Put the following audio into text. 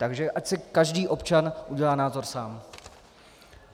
Takže ať si každý občan udělá názor sám.